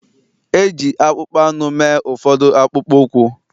E ji akpụkpọ anụ mee ụfọdụ akpụkpọ ụkwụ